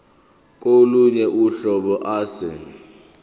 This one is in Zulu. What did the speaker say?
kolunye uhlobo ase